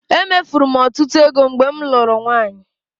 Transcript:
Emefuru m ọtụtụ ego mgbe m lụrụ nwaanyị.